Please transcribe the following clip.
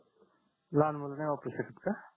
लहान मुलं नाही वापरू शकत का?